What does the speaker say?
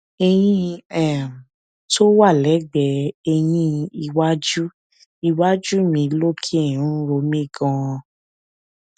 eyin um tó wà lẹgbẹẹ eyín iwájú iwájú mi lókè ń ro mí ganan